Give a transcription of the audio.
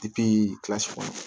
kilasi kɔnɔ